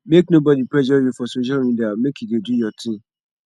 make nobodi pressure you for social media make you dey do your tin